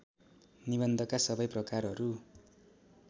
निबन्धका सबै प्रकारहरू